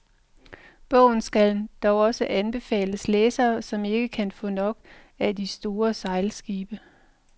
Bogen skal dog også anbefales læsere, som ikke kan få nok af de store sejlskibe.